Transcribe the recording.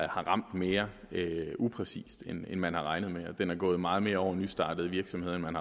har ramt mere upræcist end man havde regnet med og at den er gået meget mere ud over nystartede virksomheder end man